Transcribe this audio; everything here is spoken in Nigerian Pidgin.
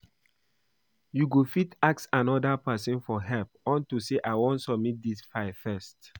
You go fit ask another person for help unto say I wan submit dis file first